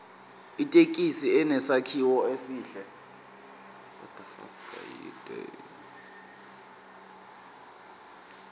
ithekisi inesakhiwo esihle